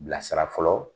Bilasira fɔlɔ